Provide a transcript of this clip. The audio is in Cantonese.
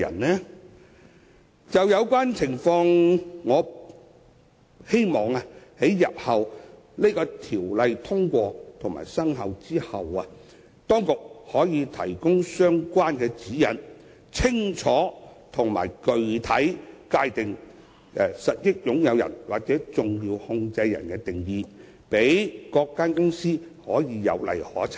關於這種情況，我希望日後在《條例草案》獲得通過後，當局可提供相關的指引，清楚及具體地界定實益擁有人或重要控制人的定義，讓各公司有例可循。